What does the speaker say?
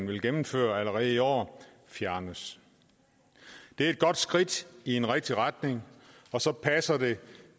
vil gennemføre allerede i år fjernes det er et godt skridt i en rigtig retning og så passer det